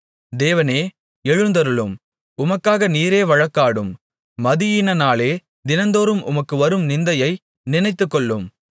தேவனே எழுந்தருளும் உமக்காக நீரே வழக்காடும் மதியீனனாலே தினந்தோறும் உமக்கு வரும் நிந்தையை நினைத்துக்கொள்ளும்